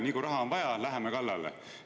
Kohe, kui raha on vaja, läheme kallale.